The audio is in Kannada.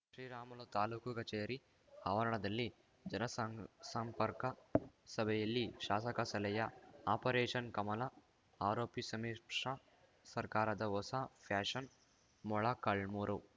ಶ್ರೀರಾಮುಲು ತಾಲೂಕು ಕಚೇರಿ ಆವರಣದಲ್ಲಿ ಜನಸಾಂಪ್ ಸಂಪರ್ಕ ಸಭೆಯಲ್ಲಿ ಶಾಸಕ ಸಲಹೆ ಆಪರೇಷನ್‌ ಕಮಲ ಆರೋಪಿ ಸಮ್ಮಿಶ್ರ ಸರ್ಕಾರದ ಹೊಸ ಫ್ಯಾಷನ್‌ ಮೊಳಕಾಳ್ಮೂರು